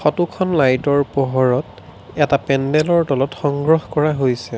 ফটোখন লাইটৰ পোহৰত এটা পেণ্ডলৰ তলত সংগ্ৰহ কৰা হৈছে।